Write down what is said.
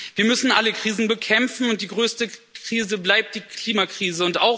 Wir müssen alle Krisen bekämpfen, und die größte Krise bleibt die Klimakrise.